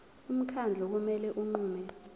umkhandlu kumele unqume